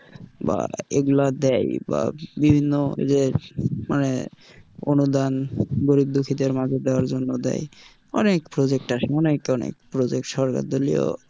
বা এগুলা দেয় বা বিভিন্ন যে মানে অনুদান গরিব-দুঃখীদের মাঝে দেওয়ার জন্য দেয় অনেক project আসে অনেক অনেক project সরকার দলীয়,